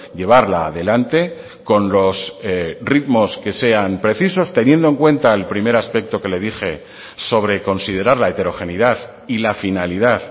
llevarla adelante con los ritmos que sean precisos teniendo en cuenta el primer aspecto que le dije sobre considerar la heterogeneidad y la finalidad